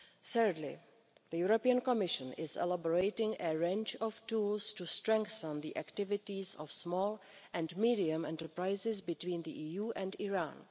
Thirdly, the European Commission is elaborating a range of tools to strengthen the activities of small and medium sized enterprises between the EU and Iran.